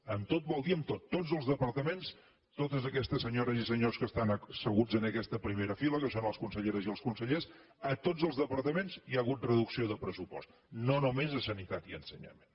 en tot vol dir en tot a tots els departaments a totes aquestes senyores i senyors que estan asseguts en aquesta primera fila que són les conselleres i els consellers a tots els departaments hi ha hagut reducció de pressupost no només a sanitat i a ensenyament